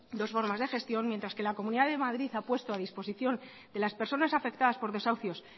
dos formas de gestión mientras que la comunidad de madrid ha puesto a disposición de las personas afectadas por desahucios